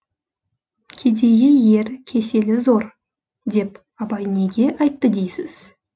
кедейі ер кеселі зор деп абай неге айтты дейсіз